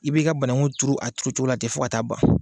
I bɛ i ka banakun turu a turu cogo la tɛ fo ka taa ban.